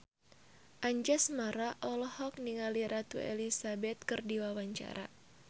Anjasmara olohok ningali Ratu Elizabeth keur diwawancara